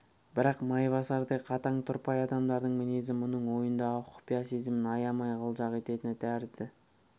бірақ майбасардай қатаң тұрпайы адамдардың мінезі мұның ойындағы құпия сезімін аямай қылжақ ететін тәрізді